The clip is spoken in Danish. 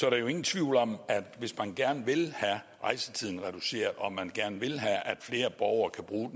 er jo ingen tvivl om at hvis man gerne vil have rejsetiden reduceret og man gerne vil have at flere borgere kan bruge